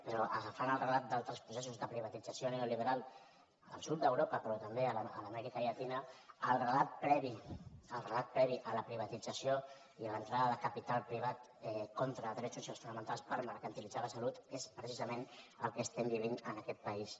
però agafant el relat d’altres processos de privatització neoliberal al sud d’europa però també a l’amèrica llatina el relat previ a la privatització i a l’entrada de capital privat contra drets socials fonamentals per mercantilitzar la salut és precisament el que vivim en aquest país